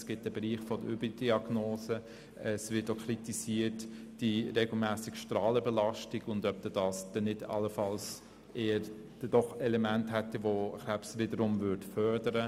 Es gibt einen Bereich der Überdiagnosen und es wird auch kritisiert, ob die regelmässige Strahlenbelastung nicht wiederum Krebs fördern würde.